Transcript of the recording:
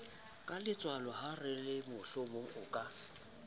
keletswalo la horemohlomong o ka